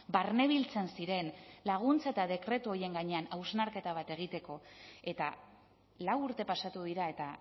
barne biltzen ziren laguntza eta dekretu horien gainean hausnarketa bat egiteko eta lau urte pasatu dira eta